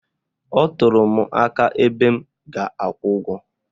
Ọ tụrụ m aka n'ebe m ga-akwụ ụgwọ